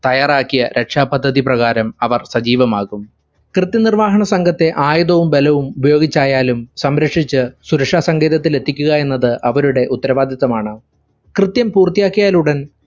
തയ്യാറാക്കിയ രക്ഷാപദ്ധതി പ്രകാരം അവർ സജീവമാകും. കൃത്യനിർവാഹണ സംഘത്തെ ആയുധവും ബലവും ഉപയോഗിച്ചായാലും സംരക്ഷിച്ചു സുരക്ഷാസങ്കേതത്തിൽ എത്തിക്കുക എന്നത് അവരുടെ ഉത്തരവാദിത്തമാണ്. കൃത്യം പൂർത്തിയാക്കിയാലുടൻ